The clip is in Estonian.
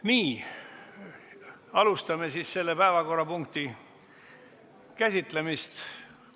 Nii, alustame siis selle päevakorrapunkti käsitlemist.